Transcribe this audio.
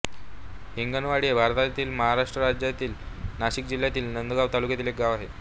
हिंगणवाडी हे भारताच्या महाराष्ट्र राज्यातील नाशिक जिल्ह्यातील नांदगाव तालुक्यातील एक गाव आहे